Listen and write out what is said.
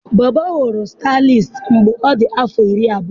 Bob ghọrọ stylist mgbe ọ dị afọ iri abụọ.